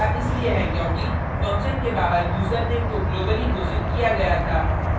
ऐसा इसलिए है क्योंकि function के बाहर यूज़रनेम को globally घोषित किया गया था